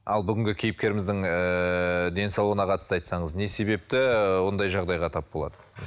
ал бүгінгі кейпкеріміздің ыыы денсаулығына қатысты айтсаңыз не себепті ондай жағдайға тап болады